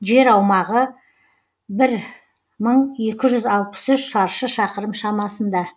жер аумағы бір мың екі жүз алпыс үш шаршы шақырым шамасында